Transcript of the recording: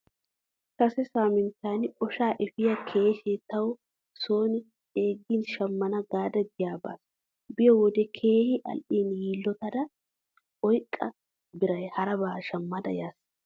Kase saaminttan oshaa efiyoo keeshee tawu son ceeggin shammana gaada giyaa baas. Biyo wode keehi al'iin yillotada oyqqo biran harabaa shammada yaas.